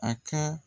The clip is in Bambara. A ka